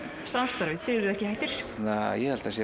samstarfi þið eruð ekki hættir ég held að það sé